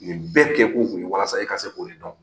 Nin bɛɛ kɛkun kun ye walasa e ka se k'o de dɔn